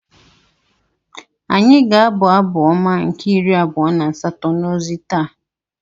Anyị ga-abụ Abụ Ọma nke iri abua na asato n’ozi taa.